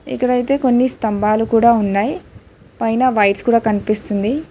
ఇక్కడ అయితే కొన్ని స్తంభాలు కూడా ఉన్నాయ్ పైన వైర్స్ కూడా కనిపిస్తుంది.